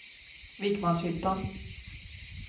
Vikmanshyttan